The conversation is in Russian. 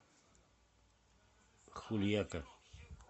хульяка